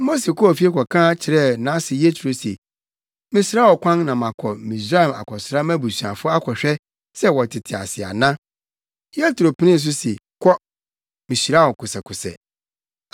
Mose kɔɔ fie kɔka kyerɛɛ nʼase Yetro se, “Mɛsrɛ wo kwan na makɔ Misraim akɔsra mʼabusuafo akɔhwɛ sɛ wɔtete ase ana.” Yetro penee so se, “Kɔ. Mihyira wo kosɛkosɛ.”